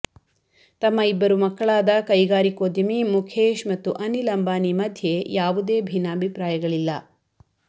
ತಮ್ಮ ಇಬ್ಬರು ಮಕ್ಕಳಾದ ಕೈಗಾರಿಕೋದ್ಯಮಿ ಮುಖೇಶ್ ಮತ್ತು ಅನಿಲ್ ಅಂಬಾನಿ ಮಧ್ಯೆ ಯಾವುದೇ ಭಿನ್ನಾಭಿಪ್ರಾಯಗಳಿಲ್ಲ